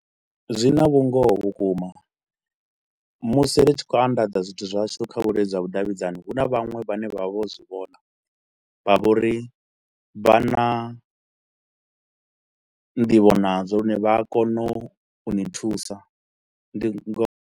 Zwi na vhungoho vhukuma musi ri tshi khou anḓadza zwithu zwashu kha vhuleludzi ha vhudavhidzani hu na vhaṅwe vhane vha vha vho zwi vhona, vha vha uri vha na ndivho nazwo lune vha a kona u u ni thusa ndi ngo.